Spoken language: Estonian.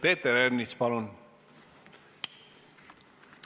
Peeter Ernits, palun!